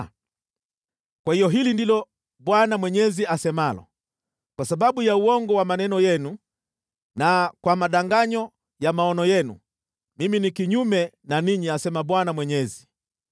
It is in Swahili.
“ ‘Kwa hiyo hili ndilo Bwana Mwenyezi asemalo: Kwa sababu ya uongo wa maneno yenu na kwa madanganyo ya maono yenu, Mimi ni kinyume na ninyi, asema Bwana Mwenyezi.